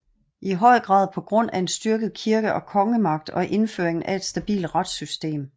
I høj grad på grund af en styrket kirke og kongemagt og indføringen af et stabilt retssystem